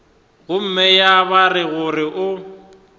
gomme ya ba gore o